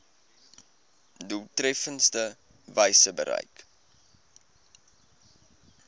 doeltreffendste wyse bereik